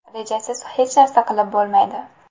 Rejasiz hech narsa qilib bo‘lmaydi.